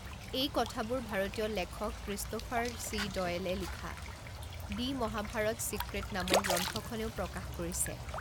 এই কথাবোৰ ভাৰতীয় লেখক ক্ৰিষ্ট'ফাৰ চি ডয়েলে লিখা 'দি মহাভাৰত চিক্ৰেট' নামৰ গ্ৰন্থখনেও প্ৰকাশ কৰিছে।